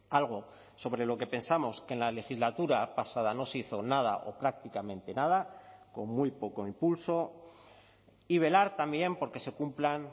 algo sobre lo que pensamos que en la legislatura pasada no se hizo nada o prácticamente nada con muy poco impulso y velar también porque se cumplan